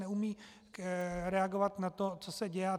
Neumí reagovat na to, co se děje.